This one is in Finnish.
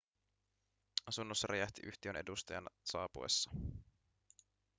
asunnossa räjähti yhtiön edustajan saapuessa